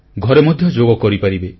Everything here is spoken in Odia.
ଘରେ ମଧ୍ୟ ଯୋଗ କରିପାରିବେ